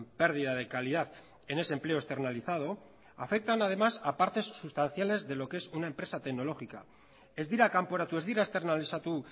pérdida de calidad en ese empleo externalizado afectan además a partes sustanciales de lo que es una empresa tecnológica ez dira kanporatu ez dira esternalizatu